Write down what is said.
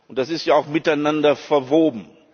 Und das ist ja auch miteinander verwoben!